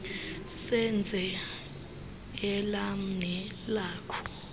senze elam nelakho